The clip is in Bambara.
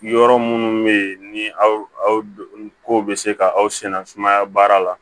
Yɔrɔ minnu bɛ yen ni aw ko bɛ se ka aw sɛnɛ sumaya baara la